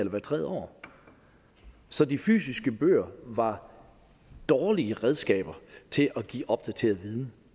hvert tredje år så de fysiske bøger var dårlige redskaber til at give opdateret viden